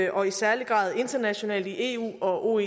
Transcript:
og i særlig grad internationalt i eu og